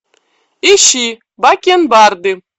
ищи бакенбарды